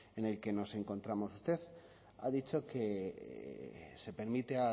en el que nos encontramos usted ha dicho que se permite